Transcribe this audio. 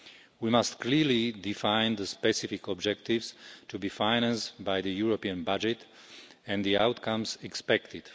We must clearly define the specific objectives to be financed by the European budget and the outcomes expected.